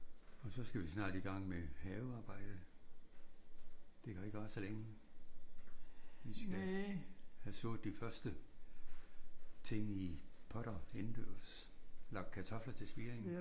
Og så skal vi snart i gang med havearbejdet. Det kan jo ikke vare så længe. Vi skal have sået de første ting i potter indendørs. Lagt kartofler til spiring